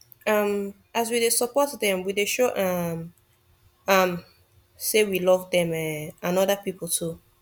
um as we dey support them we dey show um am say we love them um and other people too